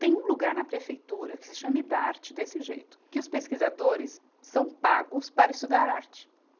Tem um lugar na prefeitura que se chama Idarte, desse jeito, que os pesquisadores são pagos para estudar arte.